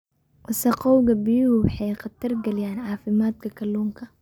Wasakhowga biyuhu waxay khatar gelinayaan caafimaadka kalluunka.